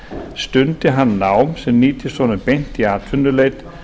stundi hann nám sem nýtist honum beint í atvinnuleit